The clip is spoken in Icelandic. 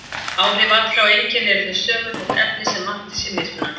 Áhrif allra og einkenni eru þau sömu, þótt efnið sem vanti sé mismunandi.